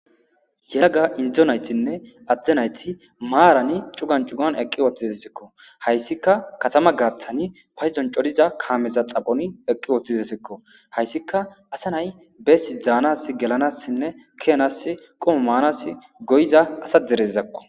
Yeraga indzo naytinne adde nayti maarani cugan cugan eqqi wootizsekko hayssika katama gaaththani payzon codiza kaameza xaphoni eqqi wootizesekko hayssika asa nay beesi dzaanas gelanassinne keanas qomo maanas goyiza asa dereizakko.